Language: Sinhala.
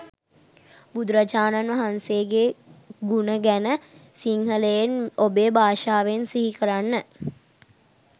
බුදුරජාණන් වහන්සේගේ ගුණ ගැන සිංහලෙන් ඔබේ භාෂාවෙන් සිහිකරන්න.